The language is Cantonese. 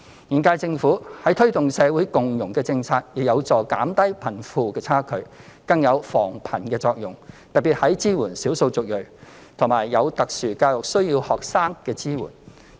現屆政府推動社會共融政策，亦有助減低貧富差距，更有防貧的作用，特別是支援少數族裔及有特殊教育需要學生的工作。